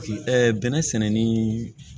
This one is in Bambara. bɛnɛ sɛnɛni